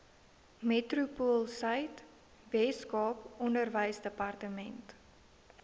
metropoolsuid weskaap onderwysdepartement